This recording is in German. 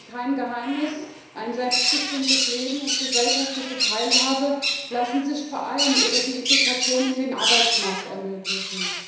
Es ist kein Geheimnis Ein selbstbestimmtes Leben und gesellschaftliche Teilhabe lassen sich vor allem über die Integration in den Arbeitsmarkt ermöglichen.